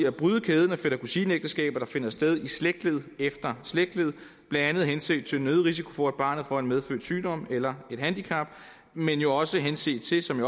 at bryde kæden af fætter kusine ægteskaber der finder sted i slægtled efter slægtled blandt andet henset til den øgede risiko for at barnet får en medfødt sygdom eller et handicap men jo også henset til som